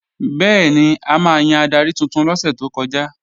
Bẹ́ẹ̀ni, a máa yan adarí tuntun lọ́sẹ̀ tó kọjá